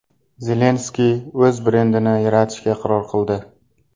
Zelenskiy o‘z brendini yaratishga qaror qildi.